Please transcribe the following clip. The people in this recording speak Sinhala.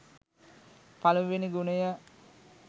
පළමුවෙනි ගුණය.